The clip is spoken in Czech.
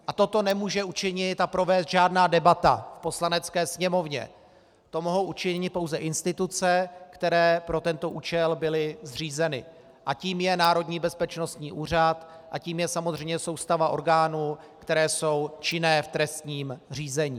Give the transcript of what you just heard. A toto nemůže učinit a provést žádná debata v Poslanecké sněmovně, to mohou učinit pouze instituce, které pro tento účel byly zřízeny, a tou je Národní bezpečnostní úřad a tou je samozřejmě soustava orgánů, které jsou činné v trestním řízení.